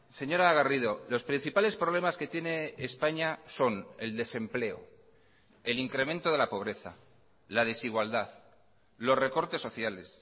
señora garrido los principales problemas que tiene españa son el desempleo el incremento de la pobreza la desigualdad los recortes sociales